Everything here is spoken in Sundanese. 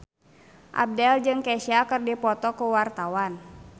Abdel jeung Kesha keur dipoto ku wartawan